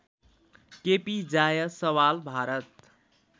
KP Jaiswal Bharat